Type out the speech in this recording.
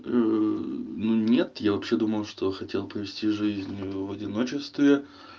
мм ну нет я вообще думал что хотел провести жизнь в одиночестве